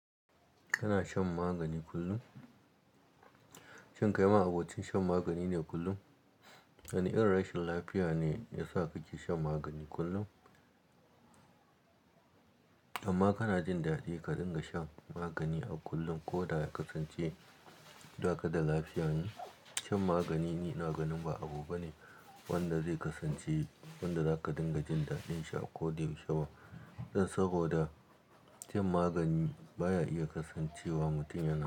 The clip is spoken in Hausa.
Kana shan magani kullum? Shin kai ma abocin shan magani ne kullum? Wane irin rashin lafiya ne ya sa kake shan magani kullum? Amma kana jin daɗi ka dinga shan magani a kullum ko da ya kasance daka da lafiya ne? Shan magani ina ganin ba abu bane wanda zai kasance wanda zaka dinga jin daɗin shi a ko da yau she ba. Dan saboda shan magani baya iya kasancewa mutum yana.